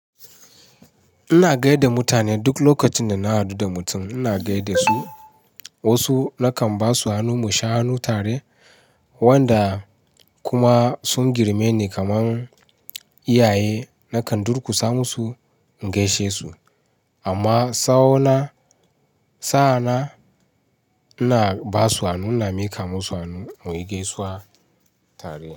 Ina gaida mutane duk lokacin da na hadu da mutum, ina gaida su. Wasu nakan ba su hannu mu sha hannu tare, wanda kuma sun girme ni kamar iyaye nakan durkusa musu in gaishe su. Amma sa'ona, sa'ana ina ba su hannu, ina miƙa musu hannu muyi gaisuwa tare.